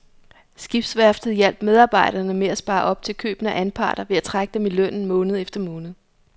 Skibsværftet hjalp medarbejderne med at spare op til købene af anparter ved at trække dem i lønnen måned efter måned.